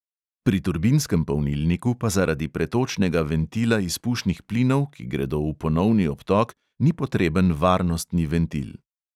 Pri turbinskem polnilniku pa zaradi pretočnega ventila izpušnih plinov, ki gredo v ponovni obtok, ni potreben varnostni ventil.